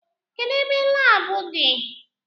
Kedụ ebe laabu di?